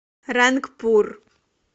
рангпур